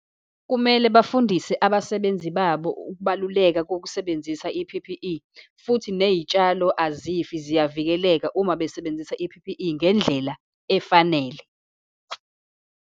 Kumele bafundise abasebenzi babo ukubaluleka kokusebenzisa i-P_P_E, futhi ney'tshalo azifi, ziyavikeleka uma besebenzisa i-P_P_E ngendlela efanele.